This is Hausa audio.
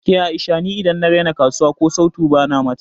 Ke A'isha ni idan na raina kasuwa ko sautu bana bata